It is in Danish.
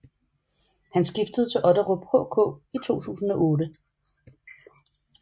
Han skiftede til Otterup HK i 2008